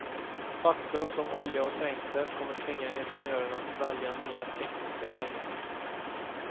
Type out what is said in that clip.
Faktum som olja och trängsel kommer tvinga ingenjörerna att välja nya tekniska vägar.